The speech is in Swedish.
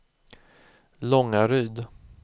Långaryd